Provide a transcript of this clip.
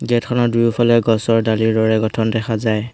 Gate খনৰ দুয়োফালে গছৰ ডালিৰ দৰে গঠন দেখা যায়।